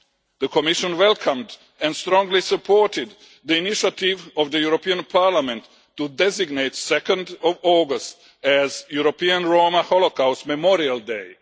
The Commission welcomed and strongly supported the initiative of the European Parliament to designate 2 August as European Roma Holocaust Memorial Day.